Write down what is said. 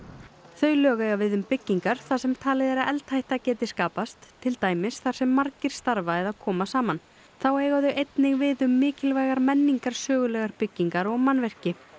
þau lög eiga við um byggingar þar sem talið er að eldhætta geti skapast til dæmis þar sem margir starfa eða koma saman þá eiga þau einnig við um mikilvægar menningarsögulegar byggingar og mannvirki